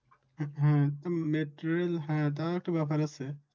হম হম মেট্রোরেল হ্যাঁ তাও তো ব্যাপার আছে